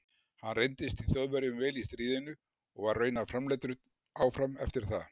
hann reyndist þjóðverjum vel í stríðinu og var raunar framleiddur áfram eftir það